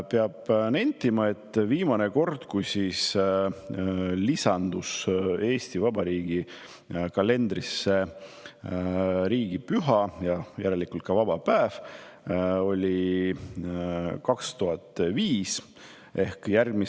Peab nentima, et viimane kord, kui Eesti Vabariigi kalendrisse riigipüha lisandus, järelikult ka vaba päev, oli 2005. aastal.